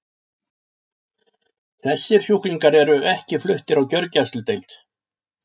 Þessir sjúklingar eru ekki fluttir á gjörgæsludeild.